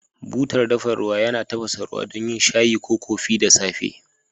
Butar dafa ruwa yana tafasa ruwa don yin shayi ko kofi da safe.